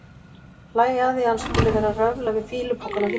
Hlæja að því að hann skuli vera að röfla við fýlupokann á hillunni.